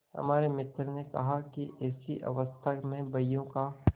हमारे मित्र ने कहा कि ऐसी अवस्था में बहियों का